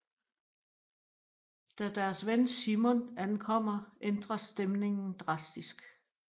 Da deres ven Simon ankommer ændres stemningen drastisk